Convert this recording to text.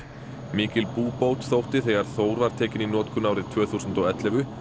mikil búbót þótti þegar Þór var tekinn í notkun árið tvö þúsund og ellefu